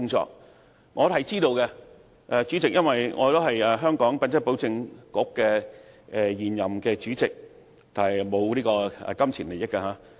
這些工作我是知道的，主席，因為我是香港品質保證局的現任主席，但沒有金錢利益。